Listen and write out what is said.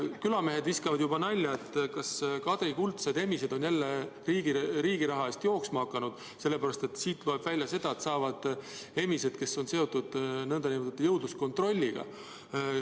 Külamehed viskavad juba nalja, et kas Kadri kuldsed emised on jälle riigi raha eest jooksma hakanud, sest siit loeb välja, et makstakse emiste eest, kes on seotud nn jõudluskontrolliga.